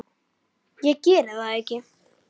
Ég geri það ekki!